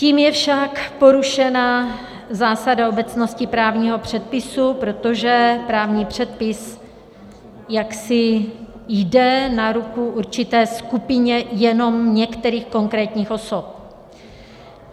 Tím je však porušena zásada obecnosti právního předpisu, protože právní předpis jaksi jde na ruku určité skupině jenom některých konkrétních osob.